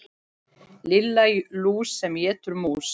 Lilla lús sem étur mús.